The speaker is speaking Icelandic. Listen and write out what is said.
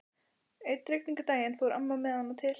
Einn rigningardaginn fór amma með hana til